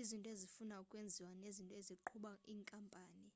izinto ezifuna ukwenziwa nezinto eziqhuba inkampani